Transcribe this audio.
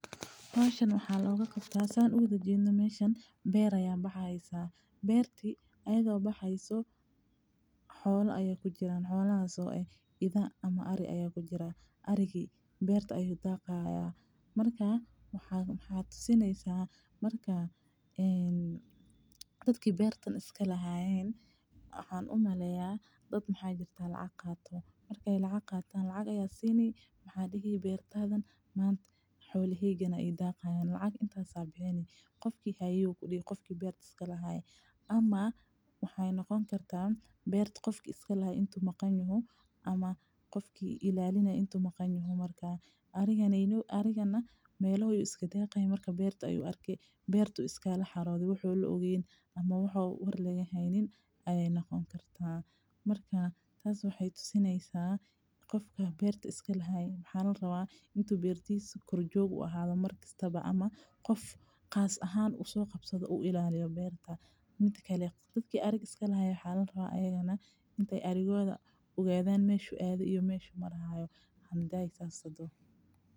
Howshan waxaa looga qabtaa sida aan uwada jeedo beer ayaa baxaysa hadana xoola ari ayaa kujiraan oo Ari ayaa daqaan dadka beerta iska lahaay in lacag aay qaatan oo lacag lasiiyo marka ariga uu raaco ama ariga oo iska socdo inamuu iska gale marka beeraleyda waa inaay is ilaaliyaan mida kale qofka ariga iska lahaay waa inuu ogaado arigiisa meesha uu maraayo.